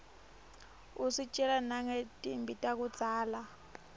usitjela nangetimphi takudzala